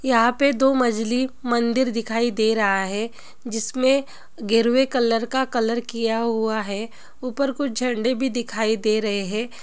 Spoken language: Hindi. यहां पे दो मजली मंदिर दिखाई दे रहा है जिसमे गेरुए कलर का कलर किया हुवा है ऊपर कुछ झंडे भी दिखाई दे रहे है ।